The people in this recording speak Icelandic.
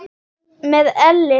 Með elli sko.